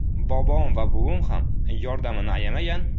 Bobom va buvim ham yordamini ayamagan.